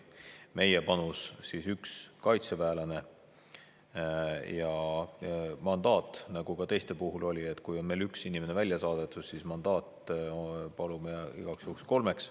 Meie panus on üks kaitseväelane, aga nagu ka teiste puhul oli, kui üks inimene on välja saadetud, siis mandaati palume igaks juhuks kolmele.